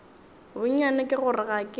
bonnyane ke gore ga ke